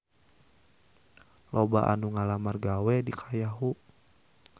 Loba anu ngalamar gawe ka Yahoo!